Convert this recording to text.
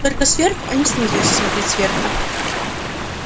только сверху а не снизу если смотреть сверху